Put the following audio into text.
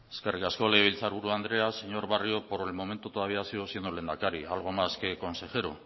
eskerrik asko legebiltzarburu andrea señor barrio por el momento todavía sigo siendo lehendakari algo más que consejero